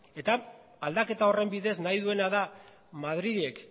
eta aldaketa horren bidez nahi duena da madrilek